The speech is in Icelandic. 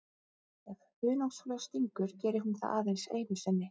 Ef hunangsfluga stingur gerir hún það aðeins einu sinni.